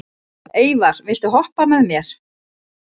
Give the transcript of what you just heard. Eyvar, viltu hoppa með mér?